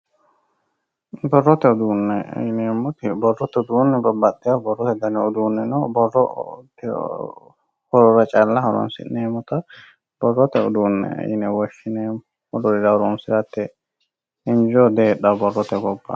Borrote uduune yineemmoti babbaxeyo borrote danni uduuni no borrote calla horonsi'neemmotta borrote uduune yinne woshshineemmo wolurira horonsirate injo diheedhano borrote gobba.